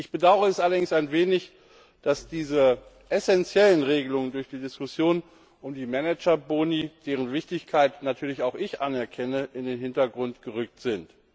Ich bedaure es allerdings ein wenig, dass diese essenziellen Regelungen durch die Diskussion um die Manager Boni, deren Wichtigkeit natürlich auch ich anerkenne, in den Hintergrund gerückt sind.